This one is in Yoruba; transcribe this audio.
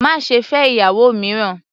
Má ṣe fẹ́ ìyàwó mìíràn!